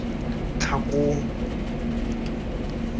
tlhakong